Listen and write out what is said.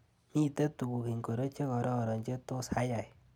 Miite tuk ingoro che kororon che tos ayai.